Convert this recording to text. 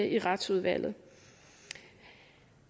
i retsudvalget